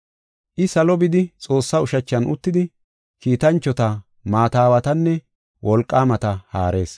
I salo bidi Xoossaa ushachan uttidi, kiitanchota, maata aawatanne wolqaamata haarees.